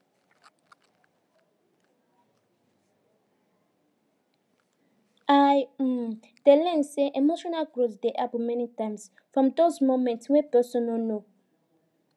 i um dey learn say emotional growth dey happen many times from those moments wey person no no